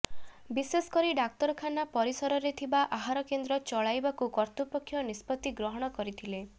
ବିଶେଷକରି ଡାକ୍ତରଖାନା ପରିସରରେ ଥିବା ଆହାରକେନ୍ଦ୍ର ଚଳାଇବାକୁ କର୍ତ୍ତୃପକ୍ଷ ନିଷ୍ପତ୍ତି ଗ୍ରହଣ କରିଥିଲେ